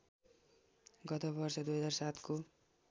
गतवर्ष २००७ को